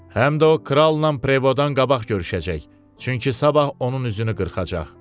Həm də o kralnan Prevadan qabaq görüşəcək, çünki sabah onun üzünü qırxacaq.